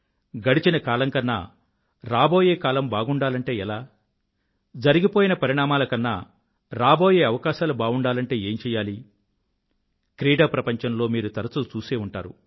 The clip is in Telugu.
గడిచిన కాలం కన్నా రాబోయే కాలం బాగుండాలంటే ఎలా జరిగిపోయిన పరిణామాల కన్నా రాబోయే అవకాశాలు బావుండాలంటే ఏం చెయ్యాలి క్రీడాప్రపంచంలో మీరు తరచూ చూసే ఉంటారు